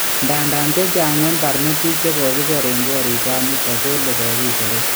Ndadan chechaang en parnotik chekokiser en ngorik chanito kole kokiseret